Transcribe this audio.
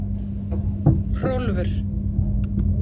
Hrólfur